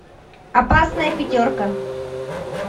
опасная пятерка